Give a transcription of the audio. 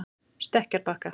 Stekkjarbakka